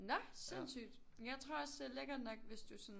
Nå sindssygt jeg tror også det er lækkert nok hvis du sådan